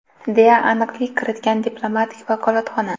deya aniqlik kiritgan diplomatik vakolatxona.